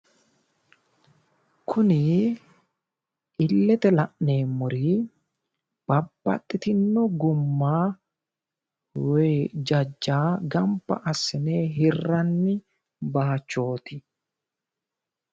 Kuni illete la'neemmori babbaxxitinno gumma woy jajja gamba assine hirranni baayichooti.